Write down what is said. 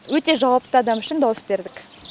өте жауапты адам үшін дауыс бердік